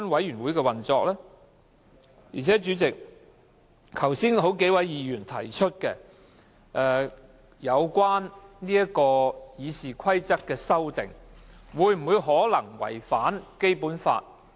而且，主席，剛才有數位議員提出，有關《議事規則》的修訂會否違反《基本法》？